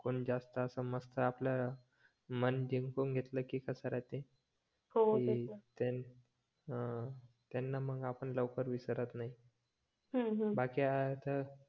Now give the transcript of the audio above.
पण जास्त असं मस्त आपल्या पण जिंकून घेतलं की कसा राहते हा त्यांना मग आपण लवकर विसरत नाही बाकी हा